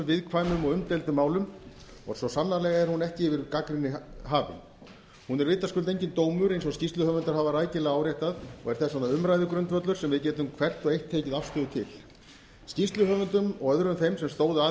viðkvæmum og umdeildum málum og svo sannarlega er hún ekki yfir gagnrýni hafin hún er vitaskuld enginn dómur eins og skýrsluhöfundar hafa rækilega áréttað og er þess vegna umræðugrundvöllur sem við getum hvert og eitt tekið afstöðu til skýrsluhöfundum og öðrum þeim sem stóðu að